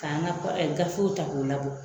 K'an ka gafew ta k'u labɔ